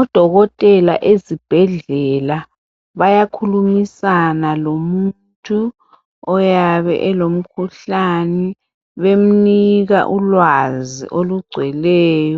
Odokotela ezibhedlela bayakhulumisana lomuntu oyabe elomkhuhlane bemnika ulwazi olugcweleyi